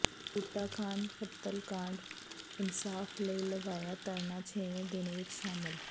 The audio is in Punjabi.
ਬੂਟਾ ਖ਼ਾਨ ਕਤਲ ਕਾਂਡ ਇਨਸਾਫ਼ ਲਈ ਲਗਾਇਆ ਧਰਨਾ ਛੇਵੇਂ ਦਿਨ ਵਿਚ ਸ਼ਾਮਿਲ